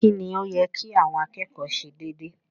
Kí ni ó yẹ kí àwọn akẹ́kọ̀ọ́ ṣe dédé?